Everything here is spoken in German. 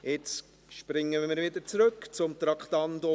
Nun springen wir wieder zurück zum Traktandum 49.